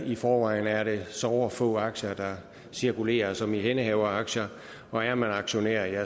i forvejen er det såre få aktier der cirkulerer som ihændehaveraktier og er man aktionær